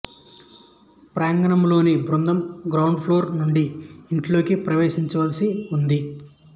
ప్రాంగణంలోని బృందం ground floor నుండి ఇంట్లోకి ప్రవేశించవలసి ఉంది